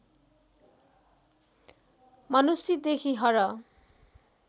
मनुष्य देखि हर